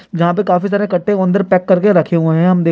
जहां पे काफी सारे इक्कठे अंदर पैक कर के रखे हुए है हम दे --